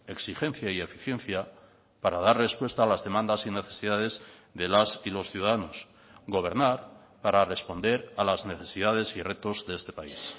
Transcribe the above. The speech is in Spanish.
exigencia y eficiencia para dar respuesta a las demandas y necesidades de las y los ciudadanos gobernar para responder a las necesidades y retos de este país